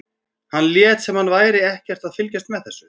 Hann lét sem hann væri ekkert að fylgjast með þessu.